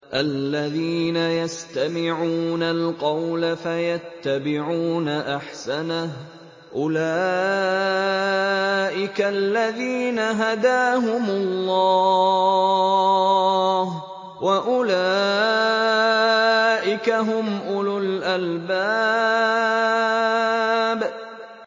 الَّذِينَ يَسْتَمِعُونَ الْقَوْلَ فَيَتَّبِعُونَ أَحْسَنَهُ ۚ أُولَٰئِكَ الَّذِينَ هَدَاهُمُ اللَّهُ ۖ وَأُولَٰئِكَ هُمْ أُولُو الْأَلْبَابِ